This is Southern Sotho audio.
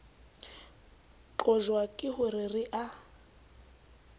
qojwa ke ho re a